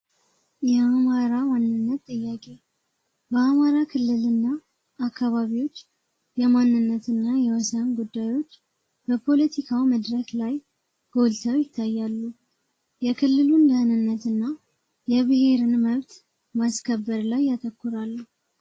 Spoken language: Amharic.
የአማራ ዋንነት ጥያቄ በአማራ ክልል እና አካባቢዎች የማንነትና የወሳን ጉዳዮች በፖለቲካው መድረክ ላይ ጎልተው ይታያሉ የክልሉን ለድህንነት እና የብሔርን መብት ማስከበር ላይ ያተኩራሉ።